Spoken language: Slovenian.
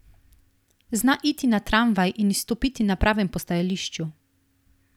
Zna iti na tramvaj in izstopiti na pravem postajališču.